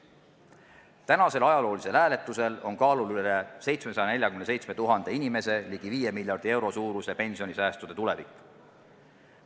Tänasel ajaloolisel hääletusel on kaalul üle 747 000 inimese ligi viie miljardi euro suuruste pensionisäästude tulevik.